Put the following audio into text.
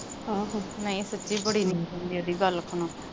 ਆਹੋ। ਨਹੀਂ, ਸੱਚੀ ਬੜੀ ਆਉਂਦੀ ਆ।